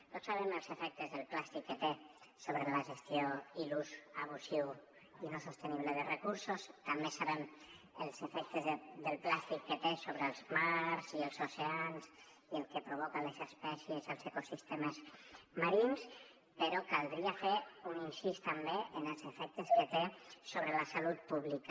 tots sabem els efectes que té el plàstic sobre la gestió i l’ús abusiu i no sostenible de recursos també sabem els efectes que té el plàstic sobre els mars i els oceans i el que provoca a les espècies als ecosistemes marins però caldria fer un incís també en els efectes que té sobre la salut pública